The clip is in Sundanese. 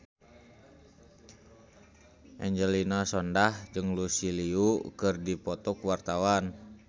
Angelina Sondakh jeung Lucy Liu keur dipoto ku wartawan